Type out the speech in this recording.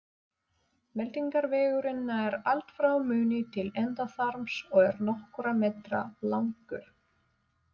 Meltingarvegurinn nær allt frá munni til endaþarms og er nokkurra metra langur.